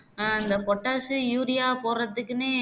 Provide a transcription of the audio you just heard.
அஹ் இந்த potash உ urea போடுறத்துக்குன்னே